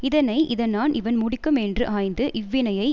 இதனை இதனான் இவன் முடிக்கும் என்று ஆய்ந்து இவ்வினையை